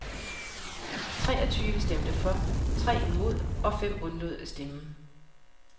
Treogtyve stemte for, tre imod og fem undlod at stemme.